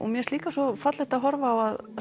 mér finnst líka svo fallegt að horfa á